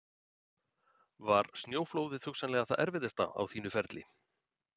Var snjóflóðið hugsanlega það erfiðasta á þínu ferli?